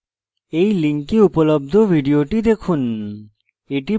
এই link উপলব্ধ video দেখুন